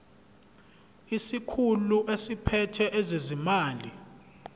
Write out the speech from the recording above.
isikhulu esiphethe ezezimali